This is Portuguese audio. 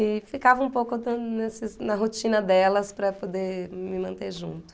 E ficava um pouco até nessas na rotina delas para poder me manter junto.